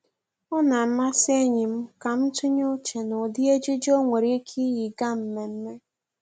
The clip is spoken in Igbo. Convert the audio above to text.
Ọ na-amasị enyi m ka m tụnye uche n'ụdị ejiji o nwere ike iyi gaa mmemme